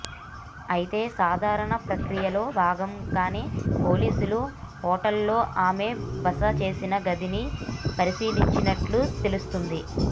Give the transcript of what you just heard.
అయితే సాధారణ ప్రక్రియలో భాగంగానే పోలీసులు హోటల్ లో ఆమె బస చేసిన గదిని పరిశీలించినట్టు తెలుస్తోంది